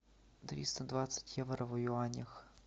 триста двадцать евро в юанях